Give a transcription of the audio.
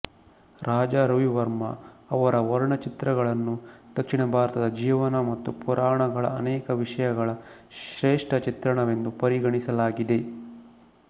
ರಾಜಾ ರವಿವರ್ಮ ಅವರ ವರ್ಣಚಿತ್ರಗಳನ್ನು ದಕ್ಷಿಣ ಭಾರತದ ಜೀವನ ಮತ್ತು ಪುರಾಣಗಳ ಅನೇಕ ವಿಷಯಗಳ ಶ್ರೇಷ್ಠ ಚಿತ್ರಣವೆಂದು ಪರಿಗಣಿಸಲಾಗಿದೆ